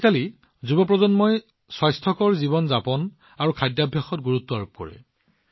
আজিকালি যুৱ প্ৰজন্মই স্বাস্থ্যকৰ জীৱন যাপন আৰু খোৱাৰ ওপৰত যথেষ্ট মনোনিৱেশ কৰে